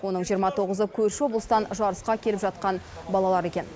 оның жиырма тоғызы көрші облыстан жарысқа келіп жатқан балалар екен